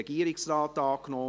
/ Regierungsrat Antrag